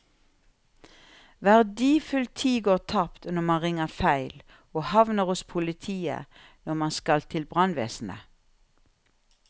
Verdifull tid går tapt når man ringer feil og havner hos politiet når man skal til brannvesenet.